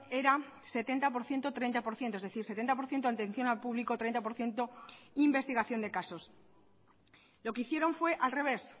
era setenta por ciento treinta por ciento es decir setenta por ciento atención al público treinta por ciento investigación de casos lo que hicieron fue al revés